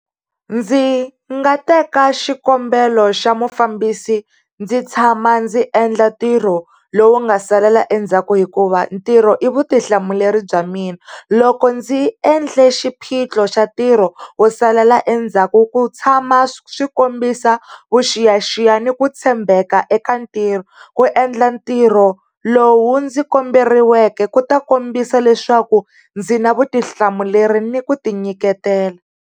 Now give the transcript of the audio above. Ndzi nga teka xikombelo xa mufambisi ndzi tshama ndzi endla ntirho lowu nga salela endzhaku, hikuva ntirho i vutihlamuleri bya mina. Loko ndzi endle xiphiqo xa ntirho wo salela endzhaku, ku tshama swi kombisa vuxiyaxiya ni ku tshembeka eka ntirho, ku endla ntirho lowu ndzi komberiweke ku ta kombisa leswaku ndzi na vutihlamuleri ni ku ti nyiketela.